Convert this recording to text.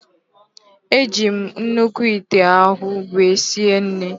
Eji m nnukwu ite ahụ wee sie nrị